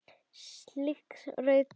Slík rök dugðu.